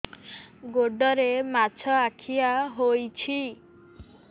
ଗୋଡ଼ରେ ମାଛଆଖି ହୋଇଛି